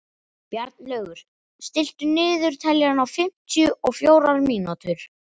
Bjarnlaugur, stilltu niðurteljara á fimmtíu og fjórar mínútur.